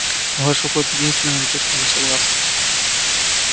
ваш уход единственное на то что мы согласны